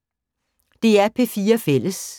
DR P4 Fælles